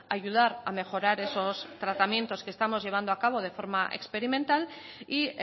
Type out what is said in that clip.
ayudar a mejorar esos tratamientos que estamos llevando a cabo de forma experimental y